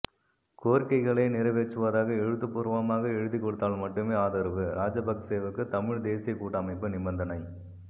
கோரிக்கைகளை நிறைவேற்றுவதாக எழுத்துப்பூர்வமாக எழுதிக் கொடுத்தால் மட்டுமே ஆதரவு ராஜபக்சேவுக்கு தமிழ் தேசிய கூட்டமைப்பு நிபந்தனை